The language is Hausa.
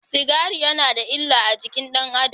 Sigari yana da illa a jikin ɗan Adam.